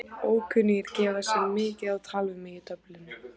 Ókunnugir gefa sig mikið á tal við mig í Dublin.